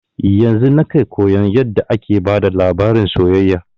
Yanzun nake koyan yarda ake bada labarin soyayya